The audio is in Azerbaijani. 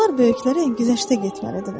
Uşaqlar böyüklərə güzəştə getməlidirlər.